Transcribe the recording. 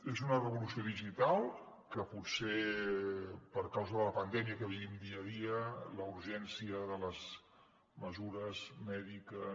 és una revolució digital que potser per causa de la pandèmia que vivim dia a dia la urgència de les mesures mèdiques